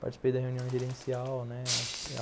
Participei da reunião gerencial, né?